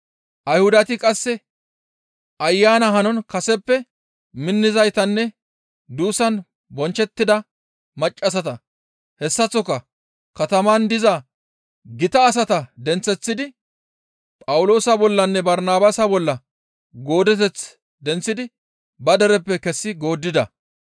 Ayhudati qasse Ayana hanon kaseppe minnizaytanne duussan bonchchettida maccassata hessaththoka kataman diza gita asata denththeththidi Phawuloosa bollanne Barnabaasa bolla goodeteth denththidi ba dereppe kessi gooddida.